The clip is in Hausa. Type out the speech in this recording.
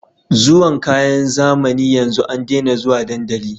Zuwan kayan zamani yanzu an dena zuwa dandali